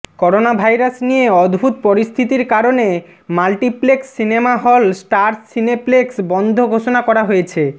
coronavirus নিয়ে উদ্ভুত পরিস্থিতির কারণে multiplex cinema hall Star Cineplex বন্ধ ঘোষণা করা হয়েছে